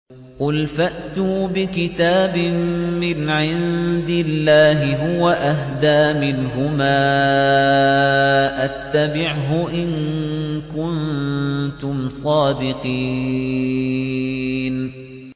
قُلْ فَأْتُوا بِكِتَابٍ مِّنْ عِندِ اللَّهِ هُوَ أَهْدَىٰ مِنْهُمَا أَتَّبِعْهُ إِن كُنتُمْ صَادِقِينَ